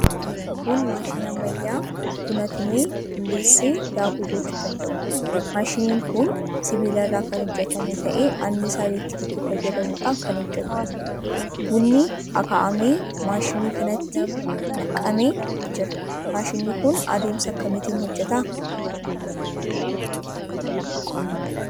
Kun maashinii ammayyaa buna tumee, bulleessee daakuu gochuu danda'uudha. Maashiniin kun sibiila irraa kan hojjetame ta'ee annisaa elektirikii fayyadamuudhaan kan hojjetuudha. Bunni akaa'ame maashinii kanatti nam'ee jira. Maashiniin kun adeemsa akkamiitiin hojjeta?